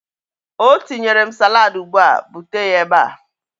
Ọ tinyere m salaadi ugbu a. Bute ya ebe a!